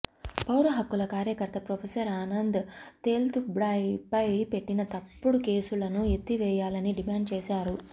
పౌరహక్కుల కార్యకర్త ప్రొఫెసర్ ఆనంద్ తేల్తుంబ్డెపై పెట్టిన తప్పుడు కేసులను ఎత్తివేయాలని డిమాండ్ చేశారు